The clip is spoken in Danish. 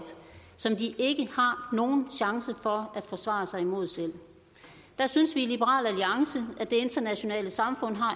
som de ikke har nogen chance for at forsvare sig imod selv og der synes vi i liberal alliance at det internationale samfund har